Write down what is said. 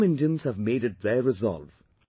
Some Indians have made it their resolve